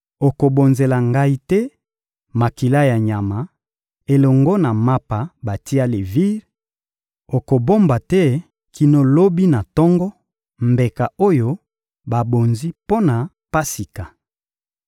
Okobonzela Ngai te makila ya nyama elongo na mapa batia levire; okobomba te kino lobi na tongo mbeka oyo babonzi mpo na Pasika.